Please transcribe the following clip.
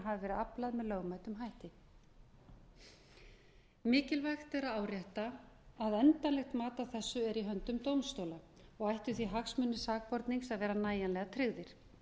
hafi verið aflað með lögmætum hætti mikilvægt er að árétta að endanlegt mat á þessu er í höndum dómstóla og ættu því hagsmunir sakbornings að vera nægjanlega tryggðir